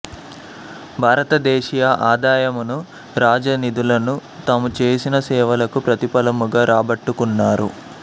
భారత దేశీయ ఆదాయమును రాజనిధులను తాముచేసిన సేవలకు ప్రతిఫలముగా రాబట్టుకున్నారు